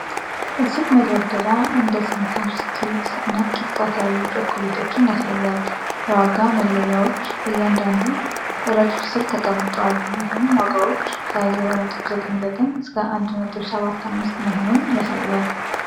የሱቅ መደርደሪያ እንደ ስኒከርስ፣ ትዊክስ እና ኪት ካት ያሉ ቸኮሌቶችን ያሳያል። የዋጋ መለያዎች በእያንዳንዱ ረድፍ ስር ተቀምጠዋል ይህም ዋጋዎች ከ$0.99 እስከ $1.75 መሆኑን ያሳያል።